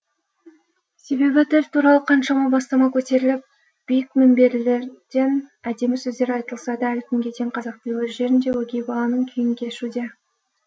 себебі тіл туралы қаншама бастама көтеріліп биік мінберлерден әдемі сөздер айтылса да әлі күнге дейін қазақтың өз жерінде өгей баланың күйін кешуде